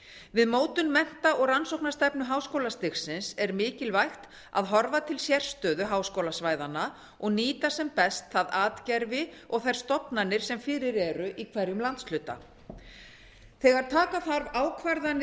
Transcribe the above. við mótun mennta og rannsóknastefnu háskólastigsins er mikilvægt að horfa til sérstöðu háskólasvæðanna og nýta sem best það atgervi og þær stofnanir sem fyrir eru í hverjum landshluta þegar taka þarf ákvarðanir